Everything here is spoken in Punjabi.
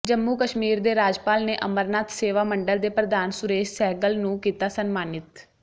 ਜੰਮੂ ਕਸ਼ਮੀਰ ਦੇ ਰਾਜਪਾਲ ਨੇ ਅਮਰਨਾਥ ਸੇਵਾ ਮੰਡਲ ਦੇ ਪ੍ਰਧਾਨ ਸੁਰੇਸ਼ ਸਹਿਗਲ ਨੂੰ ਕੀਤਾ ਸਨਮਾਨਿਤ